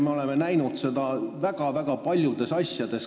Me oleme näinud seda väga-väga paljudes asjades.